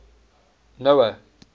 noah